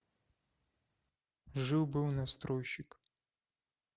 жил был настройщик